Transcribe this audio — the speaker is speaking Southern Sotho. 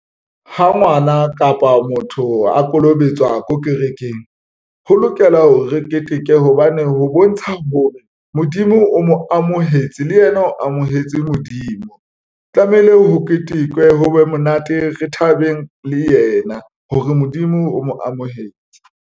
Ha ngwana kapa motho a kolobetswa ko kerekeng, ho lokela hore re keteke hobane ho bontsha hore Modimo o mo amohetse le yena, o amohetse Modimo tlamehile ho ketekwe ho be monate. Re thabeng le yena hore Modimo o mo amohetse.